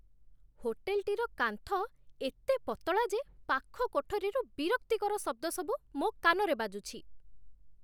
ହୋଟେଲଟିର କାନ୍ଥ ଏତେ ପତଳା ଯେ ପାଖ କୋଠରୀରୁ ବିରକ୍ତିକର ଶବ୍ଦସବୁ ମୋ କାନରେ ବାଜୁଛି।